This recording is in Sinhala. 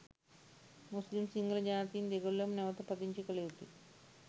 මුස්ලිම් සිංහල ජාතීන් දෙගොල්ලම නැවත පදිංචි කළ යුතුයි.